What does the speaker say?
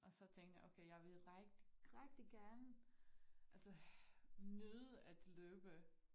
Og så tænkte jeg okay jeg vil rigtig rigtig gerne altså nyde at løbe